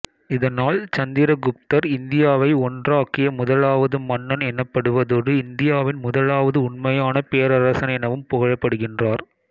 இதனால் சந்திர குப்தர் இந்தியாவை ஒன்றாக்கிய முதலாவது மன்னன் எனப்படுவதோடு இந்தியாவின் முதலாவது உண்மையான பேரரசன் எனவும் புகழப்படுகின்றார்